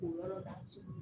K'u yɔrɔ da so